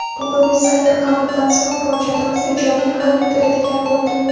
Bugungi sayyor qabuldan so‘ng murojaatimiz ijobiy hal etiladigan bo‘ldi.